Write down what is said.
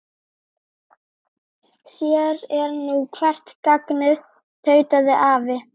Sér er nú hvert gagnið tautaði afi.